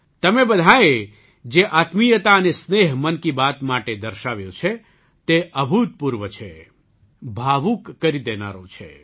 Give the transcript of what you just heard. તમે બધાંએ જે આત્મીયતા અને સ્નેહ મન કી બાત માટે દર્શાવ્યો છે તે અભૂતપૂર્વ છે ભાવુક કરી દેનારો છે